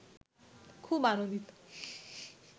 খুব আনন্দিত